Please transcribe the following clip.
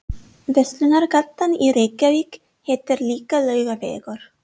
Verslunargatan í Reykjavík heitir líka Laugavegur.